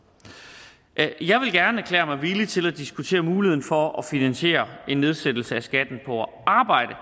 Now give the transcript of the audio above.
jeg vil gerne erklære mig villig til at diskutere muligheden for at finansiere en nedsættelse af skatten på arbejde